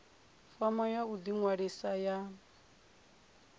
fomo ya u ḓiṅwalisa ya